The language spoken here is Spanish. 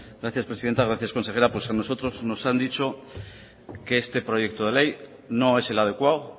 gracias presidenta gracias consejera a nosotros nos han dicho que este proyecto de ley no es el adecuado